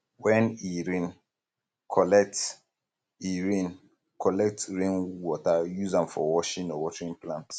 when e rain collect e rain collect rainwater use am for washing or watering plants